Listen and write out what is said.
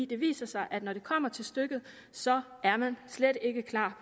det viser sig at når det kommer til stykket så er man slet ikke klar